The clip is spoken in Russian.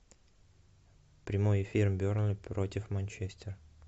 прямой эфир бернли против манчестер